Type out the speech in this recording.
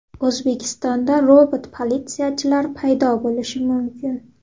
O‘zbekistonda robot-politsiyachilar paydo bo‘lishi mumkin.